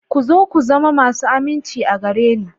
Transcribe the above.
Ku zo ku zama masu aminci a gare ni.